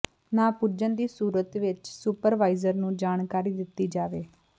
ਨਾ ਪੁੱਜਣ ਦੀ ਸੂਰਤ ਵਿੱਚ ਸੁਪਰਵਾਈਜ਼ਰ ਨੂੰ ਜਾਣਕਾਰੀ ਦਿੱਤੀ ਜਾਵੇ